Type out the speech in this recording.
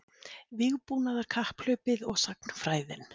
Vígbúnaðarkapphlaupið og sagnfræðin